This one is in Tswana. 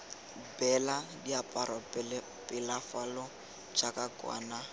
beela diaparo pelafalo jaaka kwana